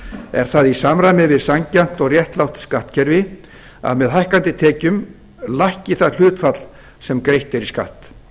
er það í samræmi við sanngjarnt og réttlátt skattkerfi að með hækkandi tekjum lækki það hlutfall sem greitt er í